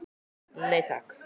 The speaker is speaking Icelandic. Nei takk.